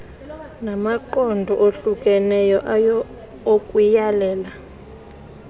namaqondo ohlukeneyo okuyalela